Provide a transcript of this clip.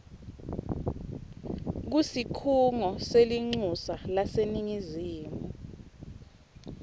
kusikhungo selincusa laseningizimu